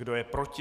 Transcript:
Kdo je proti?